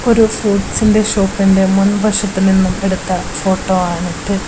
ഒരു ഫ്രൂട്ട്സിന്റെ ഷോപ്പിന്റെ മുൻവശത്തു നിന്നും എടുത്ത ഫോട്ടോ ആണ് ഇത്.